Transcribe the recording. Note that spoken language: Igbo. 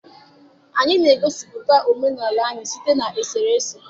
Anyị na-egosipụta omenala anyị site na eserese.